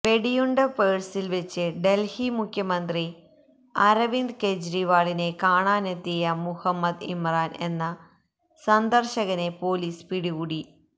വെടിയുണ്ട പേഴ്സില് വെച്ച് ഡല്ഹി മുഖ്യമന്ത്രി അരവിന്ദ് കെജ്രിവാളിനെ കാണാനെത്തിയ മുഹമ്മദ് ഇമ്രാൻ എന്ന സന്ദര്ശകനെ പൊലീസ് പിടികൂടി